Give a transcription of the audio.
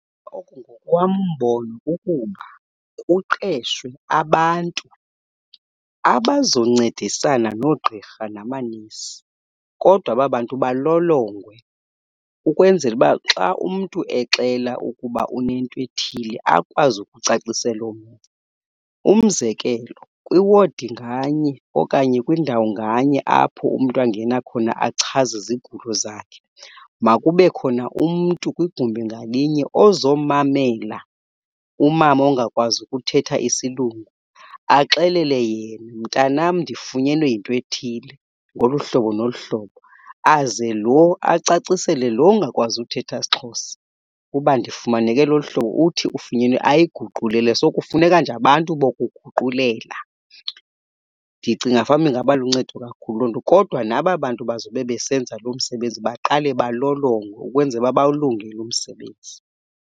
Ngokwam umbono kukuba kuqeshwe abantu abazoncedisana noogqirha namanesi, kodwa aba bantu balolongwe ukwenzela uba xa umntu exela ukuba unento ethile akwazi ukucacisela omnye. Umzekelo, kwiwadi nganye okanye kwindawo nganye apho umntu angena khona achaze izigulo zakhe makube khona umntu kwigumbi ngalinye ozomamela umama ongakwazi ukuthetha isilungu, axelele yena, mntanam ndifunyenwe yinto ethile ngolu hlobo nolu hlobo. Aze lo acacisele lo ungakwazi uthetha siXhosa ukuba ndifumaneke lolu hlobo uthi ufunyenwe ayiguqulele. So, kufuneka nje abantu bokuguqulela. Ndicinga fanuba ingaba luncedo kakhulu. Kodwa naba bantu bazobe besenza lo msebenzi baqale balolongwe ukwenzela uba bawulungele umsebenzi.